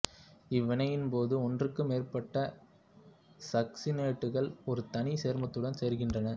இவ்வினையின் போது ஒன்றுக்கு மேற்பட்ட சக்சினேட்டுகள் ஒரு தனி சேர்மத்துடன் சேர்கின்றன